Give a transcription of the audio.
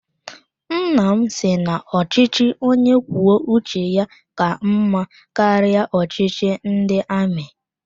Nnam si na ochichi onye kwuo uche ya ka mma karịa ọchịchị ndị amị